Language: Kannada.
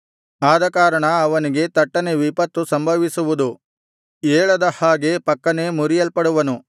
ಆದಕಾರಣ ಅವನಿಗೆ ತಟ್ಟನೆ ವಿಪತ್ತು ಸಂಭವಿಸುವುದು ಏಳದ ಹಾಗೆ ಫಕ್ಕನೆ ಮುರಿಯಲ್ಪಡುವನು